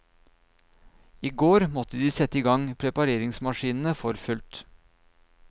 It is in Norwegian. I går måtte de sette i gang prepareringsmaskinene for fullt.